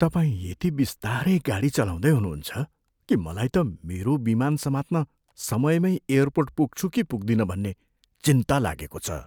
तपाईँ यति बिस्तारै गाडी चलाउँदै हुनुहुन्छ कि मलाई त मेरो विमान समात्न समयमै एयरपोर्ट पुग्छु कि पुग्दिन भन्ने चिन्ता लागेको छ।